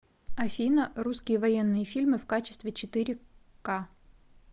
афина русские военные фильмы в качестве четыре ка